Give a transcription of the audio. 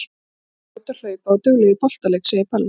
Jú, þú ert fljót að hlaupa og dugleg í boltaleik, segir Palli.